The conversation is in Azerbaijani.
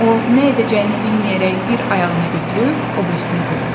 O nə edəcəyini bilməyərək bir ayağını götürüb o birisini qoyurdu.